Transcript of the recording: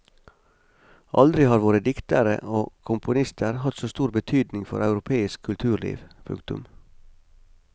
Aldri har våre diktere og komponister hatt så stor betydning for europeisk kulturliv. punktum